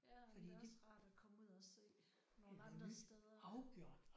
Ja men det er også rart at komme ud og se nogle andre steder